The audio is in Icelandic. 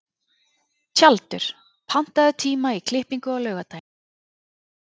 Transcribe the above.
Tjaldur, pantaðu tíma í klippingu á laugardaginn.